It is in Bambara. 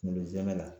Kunkolo zɛmɛ la